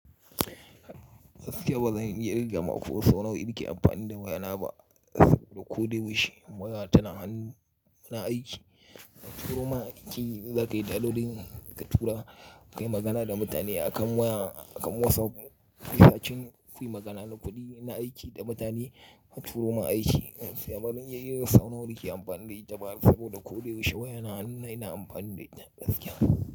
Gaskiya ba zan iya kirga ma ko sau nawa na ke amfani da waya na ba saboda ko da yaushe wayana tana hannu ina aiki. Aturo ma aiki za ka yi daɗo, idan ka tura, ka yi magana da mutane akan waya, akan WhatsApp. Haka shin ka yi magana na kuɗi na aiki da mutane, aturo ma aiki. Gaskiya barin iya kirga sau nawa na ke amfani da ita saboda ko da yaushe waya na na hannu na ina amfani da ita gaskiya.